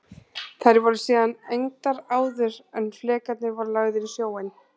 Þær voru síðan egndar áður en flekarnir voru lagðir á sjóinn.